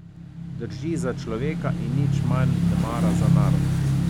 Drži za človeka in nič manj nemara za narod.